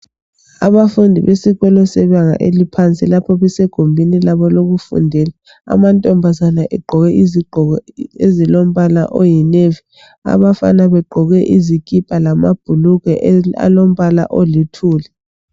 abafundi besikolo sebanga laphansi lapho besegumbini labo lokufundela amantombazane egqoke izigqoko ezilombala oyi navy abafana begqoke izikipa lamabhulugwa alombala oluthuli